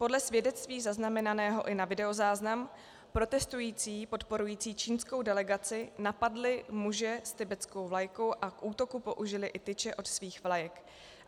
Podle svědectví zaznamenaného i na videozáznam protestující podporující čínskou delegaci napadli muže s tibetskou vlajkou a k útoku použili i tyče od svých vlajek.